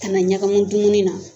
A kana ɲagami dumuni na.